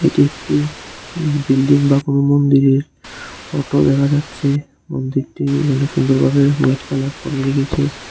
এটি একটি বিল্ডিং বা কোনো মন্দিরের ফটো দেখা যাচ্ছে মন্দিরটি এখানে সুন্দরভাবে হোয়াইট কালার করে রেখেছে।